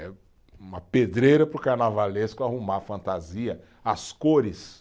É uma pedreira para o carnavalesco arrumar a fantasia, as cores.